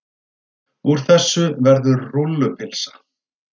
Úr þessu verður rúllupylsa.